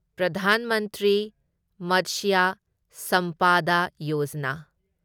Pradhan Mantri Matsya Sampada Yojana